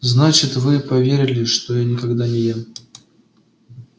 значит вы поверили что я никогда не ем